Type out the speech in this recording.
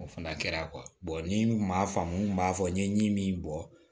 O fana kɛra ni n kun m'a faamu n kun b'a fɔ n ye min bɔ